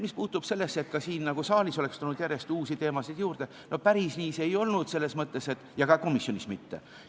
Mis puutub sellesse, et ka siin saalis oleks nagu tulnud järjest uusi teemasid juurde, no päris nii see ei olnud ja ka komisjonis mitte.